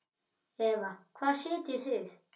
Eva: Hvar sitjið þið?